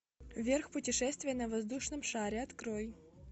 вверх путешествие на воздушном шаре открой